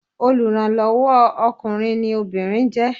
Olùrànlọ́wọ́ o ọkùnrin ni obìnrin jẹ́.